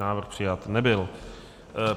Návrh přijat nebyl.